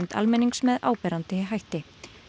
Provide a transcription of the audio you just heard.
almennings með áberandi hætti